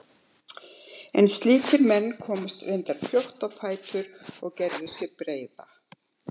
En slíkir menn komust reyndar fljótt á fætur og gerðu sig breiða.